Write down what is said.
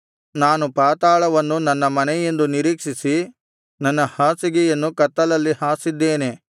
ನಾನು ಪಾತಾಳವನ್ನು ನನ್ನ ಮನೆಯೆಂದು ನಿರೀಕ್ಷಿಸಿ ನನ್ನ ಹಾಸಿಗೆಯನ್ನು ಕತ್ತಲಲ್ಲಿ ಹಾಸಿದ್ದೇನೆ